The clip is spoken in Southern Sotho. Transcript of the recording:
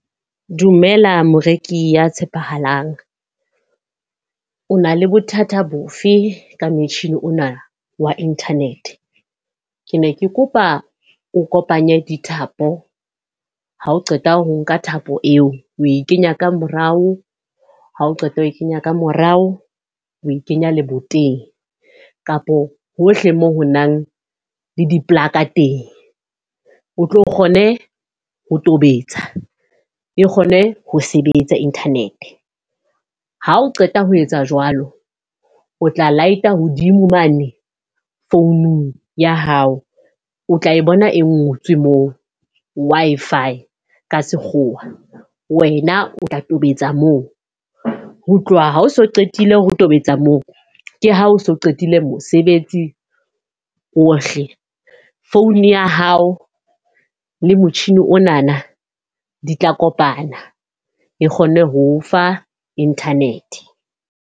Dumela moreki ya tshepahalang. O na le bothata bofe ka motjhini ona wa internet. Ke ne ke kopa o kopanye dithapo, ha o qeta ho nka thapo eo, o e kenya ka morao. Ha o qeta ho e kenya ka morao, o e kenya leboteng kapo hohle moo ho nang le diplaka teng. O tlo kgone ho tobetsa, e kgone ho sebetsa internet. Ha o qeta ho etsa jwalo, o tla light-a hodimo mane founung ya hao, o tla e bona e ngotswe moo Wi-Fi ka sekgowa. Wena o tla tobetsa moo, ho tloha ha o so qetile ho tobetsa moo. Ke ha o so qetile mosebetsi ohle. Phone ya hao le motjhini onana di tla kopana, e kgonne ho ofa internet.